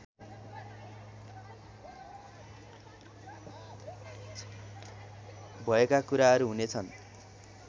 भएका कुराहरू हुनेछन्